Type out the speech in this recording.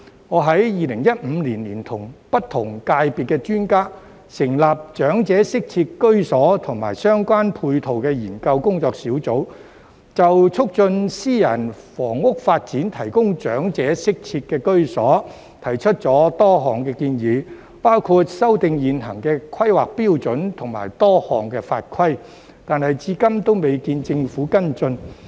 我在2015年聯同不同界別的專家，成立長者適切居所及相關配套研究工作小組，就促進私人房屋發展提供長者適切居所，提出了多項建議，包括修訂現行的規劃標準及多項法規，但至今仍未見政府跟進。